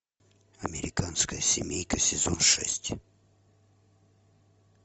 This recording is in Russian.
американская семейка сезон шесть